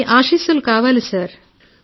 మీ ఆశీస్సులు నాకు కావాలి సార్